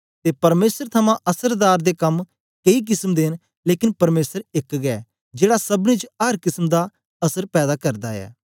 ते परमेसर थमां असरदार दे कम केई किसम दे न लेकन परमेसर एक गै जेड़ा सबनी च अर किसम दा असर पैदा करदा ऐ